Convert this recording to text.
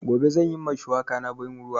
Gobe zan yi ma shuwaka na ban ruwa